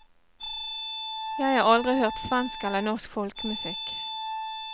Jeg har aldri hørt svensk eller norsk folkemusikk.